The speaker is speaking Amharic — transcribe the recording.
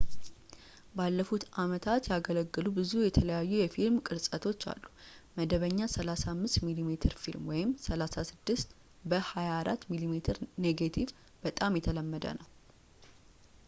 ባለፉት ዓመታት ያገለገሉ ብዙ የተለያዩ የፊልም ቅርፀቶች አሉ፡፡ መደበኛ 35 ሚሜ ፊልም 36 በ 24 ሚሜ ኔጌቲቭ በጣም የተለመደው ነው